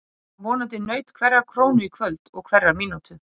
Það vonandi naut hverrar krónu í kvöld og hverrar mínútu.